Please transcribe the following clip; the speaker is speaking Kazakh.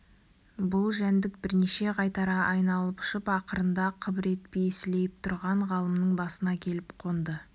бұл жәндік бірнеше қайтара айналып ұшып ақырында қыбыр етпей сілейіп тұрған ғалымның басына келіп қонды